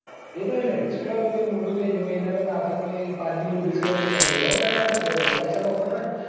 એટલે ના એટલે લે એટલે મોટું લેજે પહી એના કરતા હાવખે થી પહી પાર્થયા જેવું લઈને એ કોઈ નઈ માટે પૈસા નોખવાના હોયન.